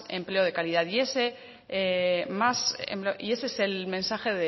empleo de calidad y ese es el mensaje